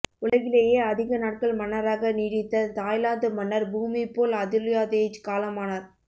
உலகிலேயே அதிக நாட்கள் மன்னராக நீடித்த தாய்லாந்து மன்னர் பூமிபோல் அதுல்யாதேஜ் காலமானார்